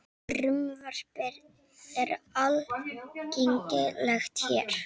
Frumvarpið er aðgengilegt hér